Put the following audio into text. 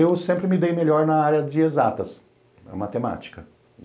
Eu sempre me dei melhor na área de exatas, na matemática.